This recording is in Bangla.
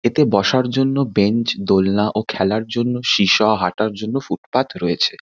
এতে বসার জন্য বেঞ্চ দোলনা ও খেলার জন্য সীসা হাঁটার জন্য ফুটপাত রয়েছে।